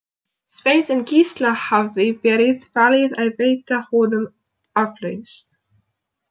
Sveins, en Gísla hafði verið falið að veita honum aflausn.